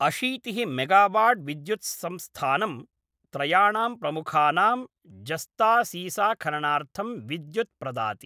अशीतिः मेगावाट् विद्युत्संस्थानं त्रयाणां प्रमुखानां जस्तासीसाखननार्थं विद्युत् प्रदाति ।